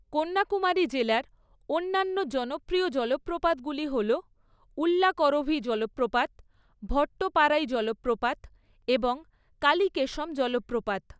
কন্যাকুমারী জেলার অন্যান্য জনপ্রিয় জলপ্রপাতগুলি হল উল্লাকরভি জলপ্রপাত, ভট্টপারাই জলপ্রপাত এবং কালীকেশম জলপ্রপাত।